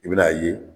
I bɛn'a ye